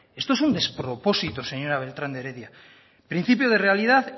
esto es un despropósito señora beltrán de heredia principio de realidad